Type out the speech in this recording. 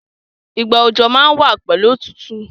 Ìgbà òjò má n wa pẹ̀lu otútù